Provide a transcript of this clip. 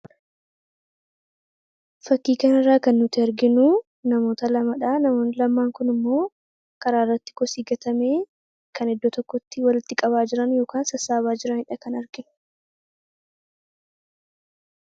Fakkii kana irraa kan nuti arginu namoota lamadha. Namoonni lamaan kun immoo karaa irratti kosii gatame kan iddoo tokkotti walitti qabaa jiran yoo sassaabaa jiraniidha kan arginu.